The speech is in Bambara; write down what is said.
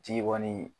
Ji kɔni